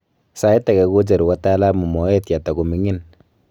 sait age kocheru wataalamu moet yatago mingin